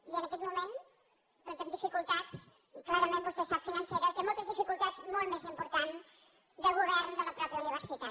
i en aquest moment doncs amb dificultats clarament vostè ho sap financeres i amb moltes dificultats molt més importants de govern de la mateixa universitat